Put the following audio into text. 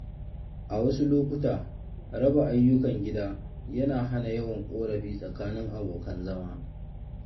A wasu lokuta, raba ayyukan gida yana hana yawan ƙorafi tsakanin abokan zama